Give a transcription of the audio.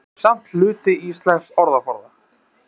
Þau eru samt hluti íslensks orðaforða.